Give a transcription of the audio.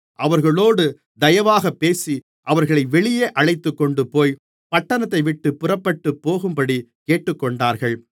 அவர்களோடு தயவாகப்பேசி அவர்களை வெளியே அழைத்துக்கொண்டுபோய் பட்டணத்தைவிட்டுப் புறப்பட்டுப்போகும்படி கேட்டுக்கொண்டார்கள்